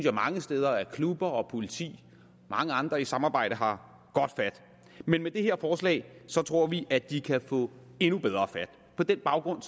klubber og politi og mange andre i et samarbejde har godt fat men med det her forslag tror vi at de kan få endnu bedre fat på den baggrund